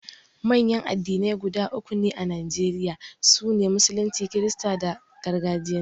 Manyan addinai guda uku ne a Najeriya, su ne, Musulunci, Kirista da Gargajiya.